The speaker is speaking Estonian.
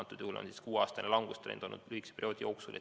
Antud juhul on kuueaastane langus olnud lühikese perioodi jooksul.